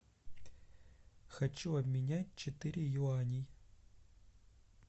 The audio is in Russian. хочу обменять четыре юаней